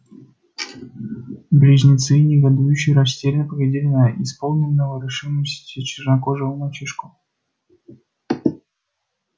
близнецы негодующе растерянно поглядели на исполненного решимости чернокожего мальчишку